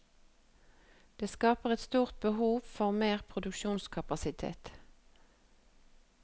Det skaper et stort behov for mer produksjonskapasitet.